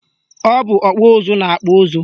Ọ bụ ọkpụ ụzụ na-akpụ ụzụ